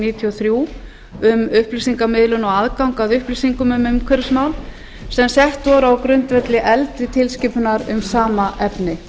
níutíu og þrjú um upplýsingamiðlun og aðgang að upplýsingum um umhverfismál sem sett voru á grundvelli eldri tilskipunar um sama efni